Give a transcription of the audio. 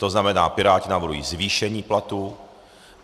To znamená, Piráti navrhují zvýšení platů.